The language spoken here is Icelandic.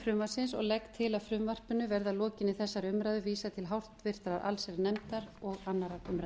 frumvarpsins og legg til að frumvarpinu verði að lokinni þessari umræðu vísað til háttvirtrar allsherjarnefndar og annarrar umræðu